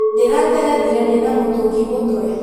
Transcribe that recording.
Ndĩranderethire ndĩna mũtũngi mũtwe